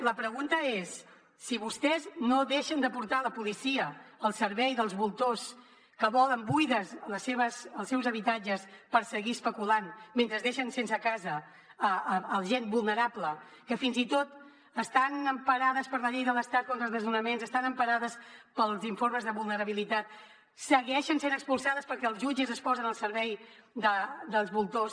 la pregunta és si vostès no deixen de portar la policia al servei dels voltors que volen buits els seus habitatges per seguir especulant mentre deixen sense casa gent vulnerable que fins i tot estant emparades per la llei de l’estat contra els desnonaments estant emparades pels informes de vulnerabilitat segueixen sent expulsades perquè els jutges es posen al servei dels voltors